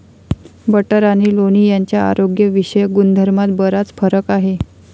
Butter आणि लोणी यांच्या आरोग्यविषयक गुणधर्मात बराच फरक आहे.